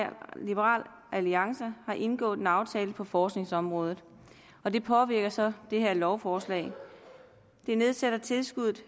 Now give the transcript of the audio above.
liberal alliance har indgået en aftale på forskningsområdet og det påvirker så det her lovforslag det nedsætter tilskuddet